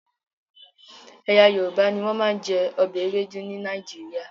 Ẹ̀yà Yorùbá ni wọ́n máa ń jẹ ọbẹ̀ Ewedu ní Nàìjíríà